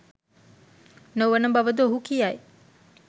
නොවන බව ද ඔහු කියයි.